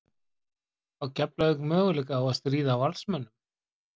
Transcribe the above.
Á Keflavík möguleika á að stríða Valsmönnum?